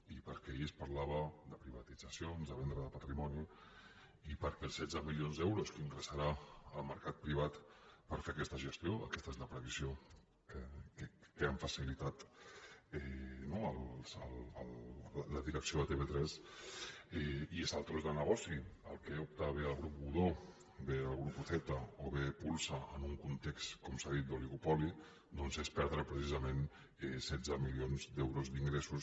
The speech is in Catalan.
i perquè ahir es parlava de privatitzacions de venda de patrimoni i perquè els setze milions d’euros que ingressarà el mercat privat per fer aquesta gestió aquesta és la previsió que ha facilitat no la direcció de tv3 i és al tros de negoci a què opten bé el grup godó bé el grupo zeta o bé pulsa en un context com s’ha dit d’oligopoli doncs és perdre precisament setze milions d’euros d’ingressos